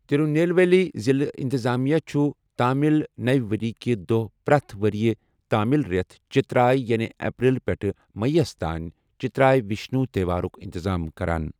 تِرُنیلویلی ضِلعہٕ اِنتِظامیہ چُھ تامِل نَوِ ؤرِیہِ کہِ دۄہ پرٛٮ۪تھ ؤرِیہِ تامِل رٮ۪تھ، چِتِراے یعنی اپریل پٮ۪ٹھٕ مٔییس تانۍ ، چِتِراے وِشنوٗ تہوارُک اِنتِظام کَران ۔